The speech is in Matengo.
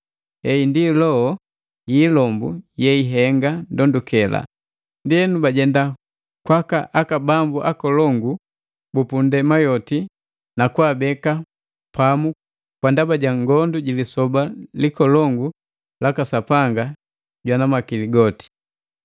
Heyi ndi loho yi ilombu yeihenga ndondukela. Ndienu bajenda kwaka bambu nkolongu bu nndema yoti na kwaabeka pamu kwa ndaba ja ngondu ji lisoba likolongu laka Sapanga Jwana Makili goti.